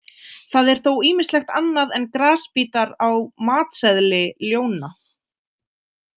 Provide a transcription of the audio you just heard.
Það er þó ýmislegt annað en grasbítar á „matseðli“ ljóna.